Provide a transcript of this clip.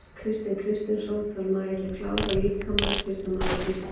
Kristinn Kristinsson: Þarf maður ekki að klára líkamann fyrst að maður er byrjaður?